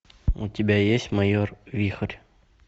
у тебя есть майор вихрь